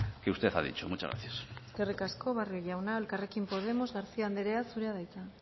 que usted ha dicho muchas gracias eskerrik asko barrio jauna elkarrekin podemos garcía andrea zurea da hitza